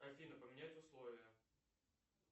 афина поменять условия